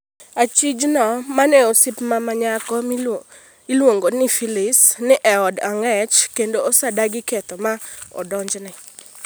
Achijno ma neen osiepne ma nyako ma iluongo ni Phylis, ni e od ang’ech kendo osedagi ketho ma odonjnego.